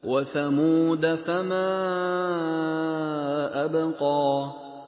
وَثَمُودَ فَمَا أَبْقَىٰ